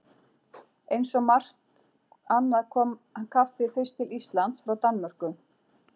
Eins og margt annað kom kaffið fyrst til Íslands frá Danmörku.